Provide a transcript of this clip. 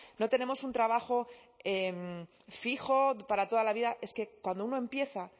no tenemos un trabajo fijo para toda la vida es que cuando uno empieza